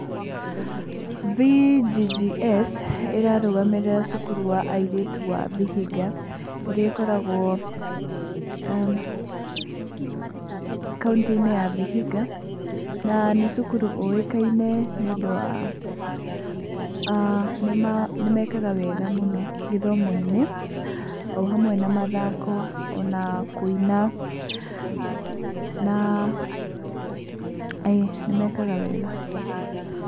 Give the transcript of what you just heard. V.G.G.S ĩrarũgamĩrĩra cukuru wa arĩtu wa Vihiga, ĩrĩa ĩkoragwo [aah]kauntĩ-inĩ ya Vihiga. Na nĩ cukuru ũikaine nĩ ũndũ wa, nĩmekaga wega mũno gĩthomo-inĩ, o hamwe na mathako ona kũina na..., ĩĩ nĩmekaga wega.